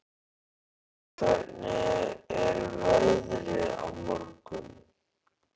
Alda, hvernig er veðrið á morgun?